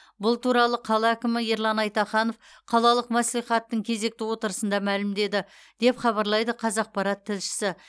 бұл туралы қала әкімі ерлан айтаханов қалалық мәслихаттың кезекті отырысында мәлімдеді деп хабарлайды қазақпарат тілшісі